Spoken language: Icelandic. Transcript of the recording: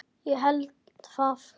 Ég held það?